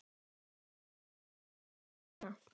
Ég er mjög glaður hérna.